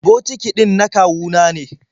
Batiki ɗin na kawu na ne.